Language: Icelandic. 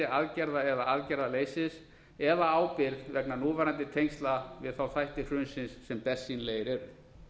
aðgerða eða aðgerðaleysis eða ábyrgð vegna núverandi tengsla við þætti hrunsins sem bersýnilegir eru